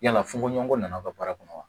Yala fonkoɲɔgɔnko nana ka baara kɔnɔ wa